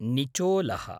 निचोलः